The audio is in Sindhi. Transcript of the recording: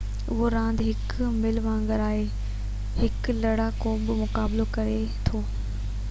اهو راند هڪ ملهہ وانگر آهي هڪ لڙاڪو ٻي کان مقابلو ڪري ٿو